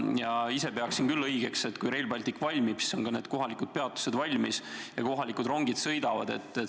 Ma ise pean õigeks, et kui Rail Baltic valmib, siis on ka kohalikud peatused valmis ja kohalikud rongid sõidavad.